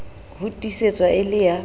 ho tiisetswa e le ya